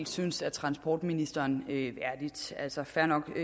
synes er transportministeren værdigt altså fair nok at